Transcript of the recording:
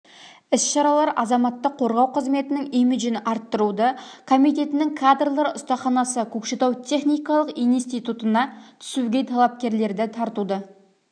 іс-шаралар азаматтық қорғау қызметінің имиджін арттыруды комитетінің кадрлар ұстаханасы көкшетау техникалық институтына түсуге талапкерлерді тартуды